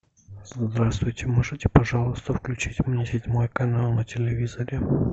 здравствуйте можете пожалуйста включить мне седьмой канал на телевизоре